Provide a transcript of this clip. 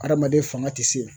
Adamaden fanga ti se.